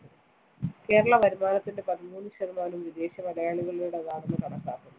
കേരള വരുമാനത്തിന്റെ പതിമൂന്ന് ശതമാനവും വിദേശ മലയാളികളുടേതാണെന്ന്‌ കണക്കാക്കുന്നു.